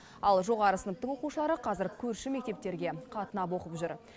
ал жоғары сыныптың оқушылары қазір көрші мектептерге қатынап оқып жүр